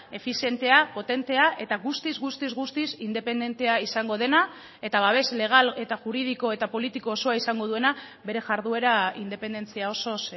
efizientea potentea eta guztiz guztiz guztiz independentea izango dena eta babes legal eta juridiko eta politiko osoa izango duena bere jarduera independentzia osoz